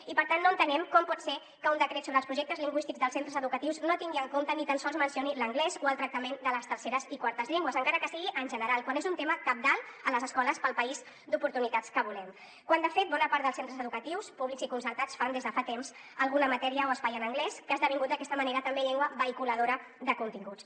i per tant no entenem com pot ser que un decret sobre els projectes lingüístics dels centres educatius no tingui en compte ni tan sols mencioni l’anglès o el tractament de les terceres i quartes llengües encara que sigui en general quan és un tema cabdal a les escoles per al país d’oportunitats que volem quan de fet bona part dels centres educatius públics i concertats fan des de fa temps alguna matèria o espai en anglès que ha esdevingut d’aquesta manera també llengua vehiculadora de continguts